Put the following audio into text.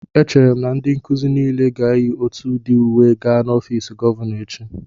Echere m na ndị nkuzi niile ga-eyi otù udi uwe gaa n'ọfiisi gọvanọ echi